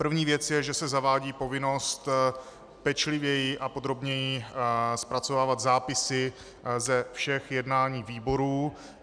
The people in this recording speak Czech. První věc je, že se zavádí povinnost pečlivěji a podrobněji zpracovávat zápisy ze všech jednání výborů.